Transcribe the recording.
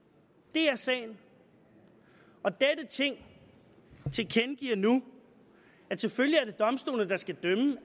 det er sagen og dette ting tilkendegiver nu at selvfølgelig